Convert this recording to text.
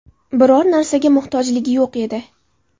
Biror narsaga muhtojligi yo‘q edi.